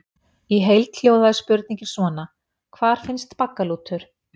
Í heild hljóðaði spurningin svona: Hvar finnst baggalútur?